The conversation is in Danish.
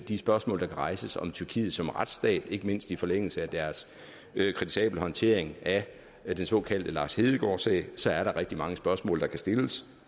de spørgsmål der kan rejses om tyrkiet som retsstat ikke mindst i forlængelse af deres kritisable håndtering af den såkaldte lars hedegaard sag så er der rigtig mange spørgsmål der kan stilles